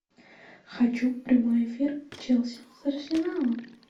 хочу прямой эфир челси с арсеналом